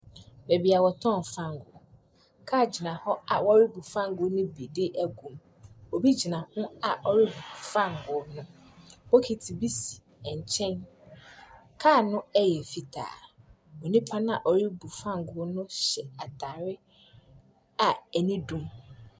Baabi a wɔtɔn fangoo. Kaa gyina hɔ a ɔrebu fangoo ne bi de egum. Obi gyina ho a ɔrebu fangoo no. Bokiti bi si nkyɛn. Kaa no ɛyɛ fitaa, nnipa na ɔrebu fangoo no hyɛ ataare a ani dum.